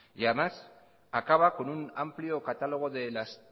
y además acaba con un amplio catálogo de las